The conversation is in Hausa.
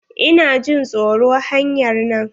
Ina jin tsoro hanyar nan.